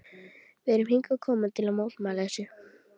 Við erum hingað komin til að mótmæla þessu.